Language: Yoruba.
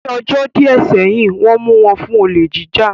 Ní ọjọ́ díẹ̀ sẹ́yìn, Wọ́n mu wọn fún olè jíjà